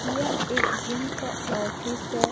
यह एक जिम का ऑफिस हैं।